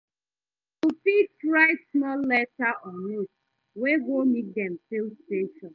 Yu fit stil write small letter or note wey go mek dem feel special